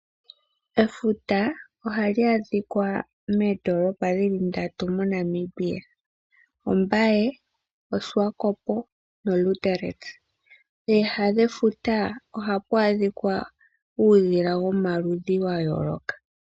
Efuta ohali adhika moondoolopa dhi li ndatu moNamibia: Ombaye, Oshiwakopo nOliindili. Pooha dhefuta ohapu adhika uudhila womaludhi ga yooloka.